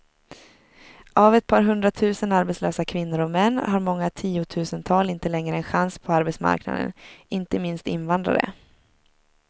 Av ett par hundratusen arbetslösa kvinnor och män har många tiotusental inte längre en chans på arbetsmarknaden, inte minst invandrare.